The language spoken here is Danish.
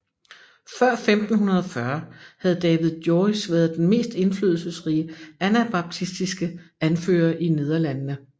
Før 1540 havde David Joris været den mest indflydelsesrige anabaptistiske anfører i Nederlandene